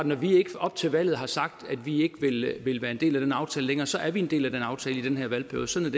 når vi ikke op til valget har sagt at vi ikke vil være en del af den aftale længere så er vi en del af den aftale i den her valgperiode sådan